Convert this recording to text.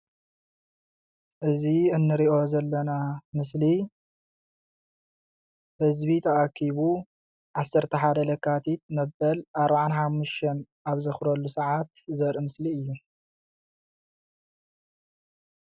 እዚ እንሪኦ ዘለና ምስሊ ህዝቢ ተኣኪቡ 11 ለካቲት መበል 45 ኣብ ዘኽብረሉ ሰዓት ዘርኢ ምስሊ እዩ::